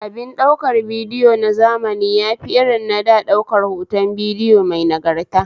Abin ɗaukar bidiyo na zamani yafi irin na da ɗaukar hoton bidiyo mai nagarta